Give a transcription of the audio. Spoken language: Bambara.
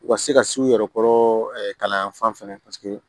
U ka se ka s'u yɛrɛ kɔrɔ kalan yan fan fɛnɛ paseke